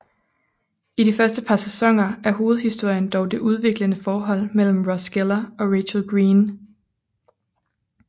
I de første par sæsoner er hovedhistorien dog det udviklende forhold mellem Ross Geller og Rachel Green